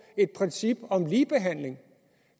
et princip om ligebehandling